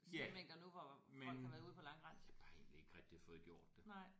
Ja men jeg har bare egentlig ikke rigtig fået gjort det